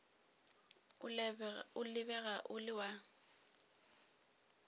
o lebega o le wa